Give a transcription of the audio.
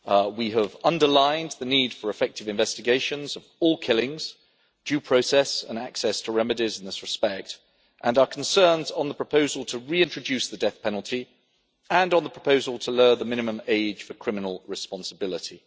We have underlined the need for effective investigations of all killings, due process and access to remedies in this respect, and our concerns on the proposal to reintroduce the death penalty and on the proposal to lower the minimum age for criminal responsibility.